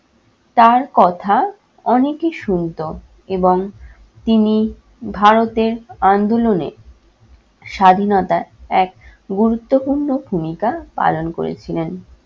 তার কথা অনেকে শুনতো এবং তিনি ভারতের আন্দোলনে স্বাধীনতার এক গুরুত্বপূর্ণ ভূমিকা পালন করেছিলেন।